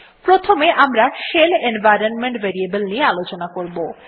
প্রথমে আমরা shell environment variable নিয়ে আলোচনা করবো